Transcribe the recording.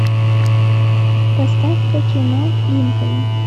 поставь ка кино линкольн